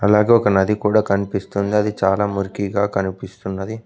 అలాగే ఒక నది కూడా కనిపిస్తుంది అది చాలా మురికిగా కనిపిస్తున్నది.